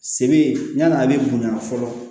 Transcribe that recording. Se be yan'a be bonya fɔlɔ